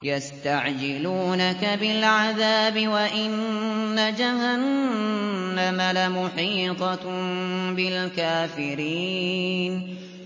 يَسْتَعْجِلُونَكَ بِالْعَذَابِ وَإِنَّ جَهَنَّمَ لَمُحِيطَةٌ بِالْكَافِرِينَ